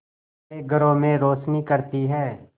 हमारे घरों में रोशनी करती है